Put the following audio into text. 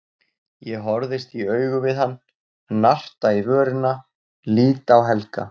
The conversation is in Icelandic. Ég horfist í augu við hann, narta í vörina, lít á Helga.